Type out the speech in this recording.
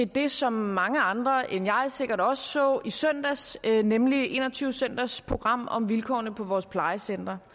det som mange andre end jeg sikkert også så i søndags nemlig en og tyve søndags program om vilkårene på vores plejecentre